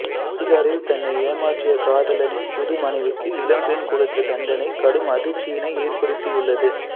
பிகாரில் தன்னை ஏமாற்றிய காதலனின் புது மனைவிக்கு இளம்பெண் கொடுத்த தண்டனை கடும் அதிர்ச்சியினை ஏற்படுத்தியுள்ளது